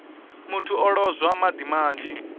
muthu o lozwa madi manzhi